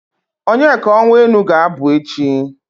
Onyeka Onwenu ga-abụ echi.